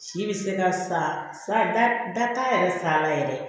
Si bɛ se ka sa ba bɛɛ ta yɛrɛ sa la yɛrɛ